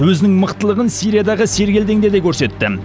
өзінің мықтылығын сириядағы сергелдеңде де көрсетті